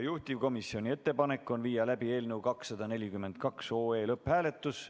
Juhtivkomisjoni ettepanek on viia läbi eelnõu 242 lõpphääletus.